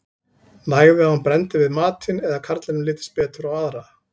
Nægði að hún brenndi við matinn eða að karlinum litist betur á aðra.